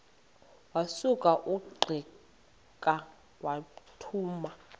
wasuka ungqika wathuma